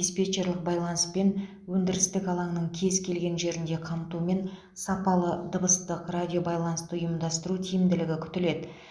диспетчерлік байланыспен өндірістік алаңның кез келген жерінде қамтумен сапалы дыбыстық радиобайланысты ұйымдастыру тиімділігі күтіледі